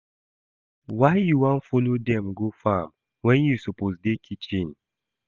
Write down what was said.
Why you wan follow dem go farm when you suppose dey kitchen?